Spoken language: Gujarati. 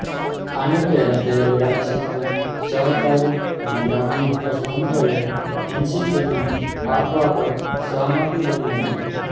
આની પહેલાં થયેલી વાતચીતમાં સહકારી અને ગ્રામીણ વિકાસ મંત્રાલય એનસીપીને આપવા પર સહમતિ બની હતી